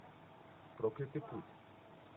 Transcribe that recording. проклятый путь